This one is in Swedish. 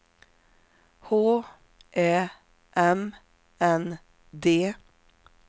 H Ä M N D